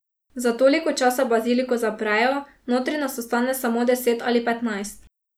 Za toliko časa baziliko zaprejo, notri nas ostane samo deset ali petnajst.